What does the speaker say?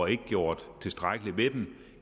ikke gjort tilstrækkeligt ved dem